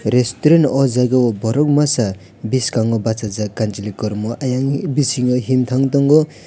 restaurant oh jaga o borok masa biskango bachajak kamchwlwi kormo ayang bising himthang tongo.